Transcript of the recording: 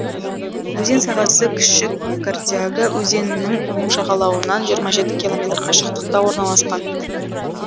өзен сағасы кіші кордяга өзенінің оң жағалауынан жиырма жеті километр қашықтықта орналасқан